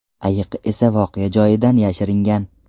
Ayiq esa voqea joyidan yashiringan.